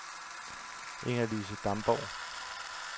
Inger-Lise Damborg